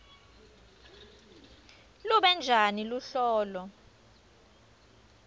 lube njani luhlolo